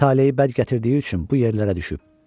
Talehi bəd gətirdiyi üçün bu yerlərə düşüb.